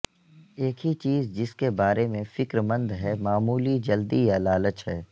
ایک ہی چیز جس کے بارے میں فکر مند ہے معمولی جلدی یا لالچ ہے